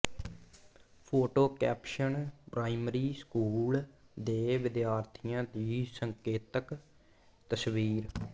photo caption primary school ਦੇ ਵਿਦਿਆਰਥੀਆਂ ਦੀ ਸੰਕੇਤਕ ਤਸਵੀਰ